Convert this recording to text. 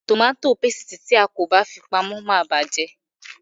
Tòmàtì pásítìì tí a kò bá fi pamọ́ máa bàjé.